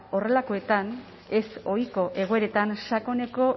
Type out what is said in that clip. horrelakoetan ezohiko egoeretan sakoneko